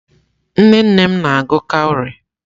Nnenne m na-agụ kawrị.